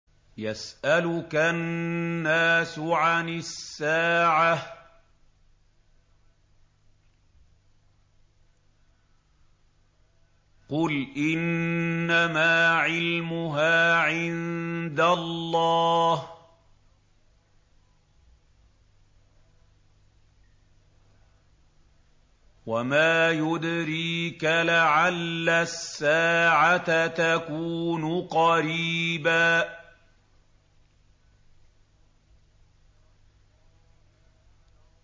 يَسْأَلُكَ النَّاسُ عَنِ السَّاعَةِ ۖ قُلْ إِنَّمَا عِلْمُهَا عِندَ اللَّهِ ۚ وَمَا يُدْرِيكَ لَعَلَّ السَّاعَةَ تَكُونُ قَرِيبًا